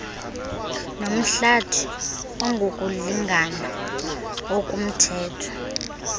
nomhlathi ongokulingana okumthetho